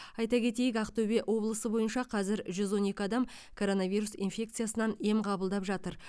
айта кетейік ақтөбе облысы бойынша қазір жүз он екі адам коронавирус инфекциясынан ем қабылдап жатыр